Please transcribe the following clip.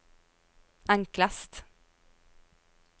enklest